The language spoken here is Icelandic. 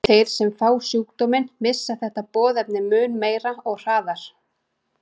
Þeir sem fá sjúkdóminn missa þetta boðefni mun meira og hraðar.